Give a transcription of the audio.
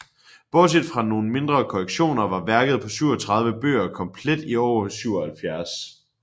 Bortset fra nogen mindre korrektioner var værket på 37 bøger komplet i år 77